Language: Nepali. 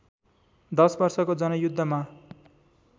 १० वर्षको जनयुद्धमा